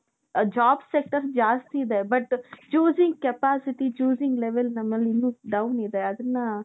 ಅ job sector ಜಾಸ್ತಿ ಇದೆ but choosing capacity, choosing level ನಮ್ಮಲ್ಲಿ ಇನ್ನೂ down ಇದೆ . ಅದನ್ನ